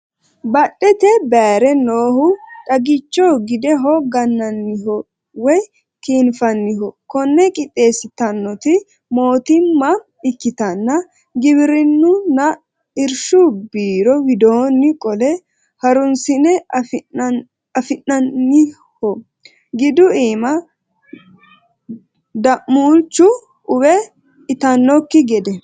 Badhete bayire noohu xaggicho gideho gananiho woyi kinfaniho kone qixxeesittanoti mootimma ikkittanna giwirinunna irshu biiro widooni qolle harunsi'ne afi'nanniho gidu iima da'mulchu uwe itanokki gede.